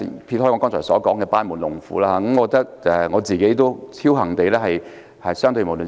撇開我剛才所說的班門弄斧，我認為自己屬僥幸的一群。